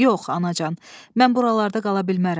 Yox, anacan, mən buralarda qala bilmərəm.